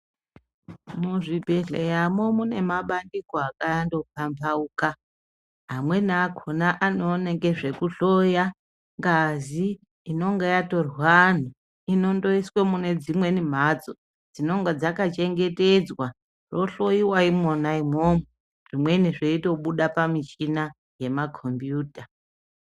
Muzvibhedhleyamo mune mabandiko akando pambauka, amweni akona anoona ngezvekuhloya ngazi inonga yatorwa antu, inondoyiswa munedzimweni mhatso, dzinenge dzaka chengetedzwa, rohloyiwa imwona imwomwo, zvimweni zveyitobuda pamichina yema kombiyuta.